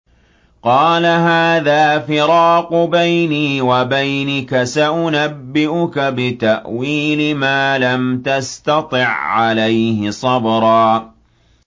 قَالَ هَٰذَا فِرَاقُ بَيْنِي وَبَيْنِكَ ۚ سَأُنَبِّئُكَ بِتَأْوِيلِ مَا لَمْ تَسْتَطِع عَّلَيْهِ صَبْرًا